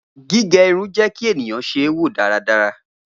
Gige irun jẹ ki eniyan wo daradara.